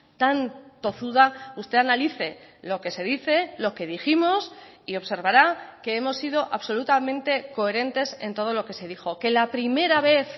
tan tozuda usted analice lo que se dice lo que dijimos y observará que hemos sido absolutamente coherentes en todo lo que se dijo que la primera vez